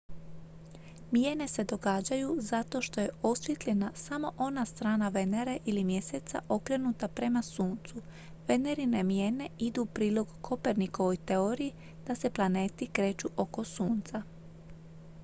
mijene se događaju zato što je osvijetljena samo ona strana venere ili mjeseca okrenuta prema suncu. venerine mijene idu u prilog kopernikovoj teoriji da se planeti kreću oko sunca